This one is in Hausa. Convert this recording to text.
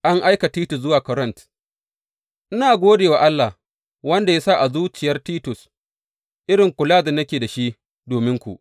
An aika Titus zuwa Korint Ina gode wa Allah, wanda ya sa a zuciyar Titus, irin kula da nake da shi dominku.